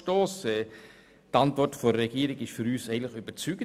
Die Antwort der Regierung ist für uns überzeugend.